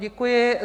Děkuji.